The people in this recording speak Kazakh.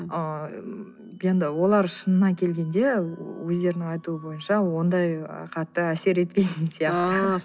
ы енді олар шынына келгенде өздерінің айтуы бойынша ондай ы қатты әсер етпейтін сияқты ааа